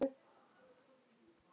Andlát getur átt við